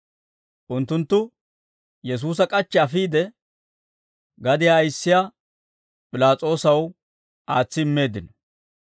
unttunttu Yesuusa k'achchi afiide, gadiyaa ayissiyaa P'ilaas'oosaw aatsi immeeddino.